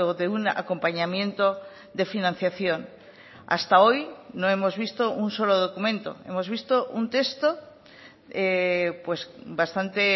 de un acompañamiento de financiación hasta hoy no hemos visto un solo documento hemos visto un texto bastante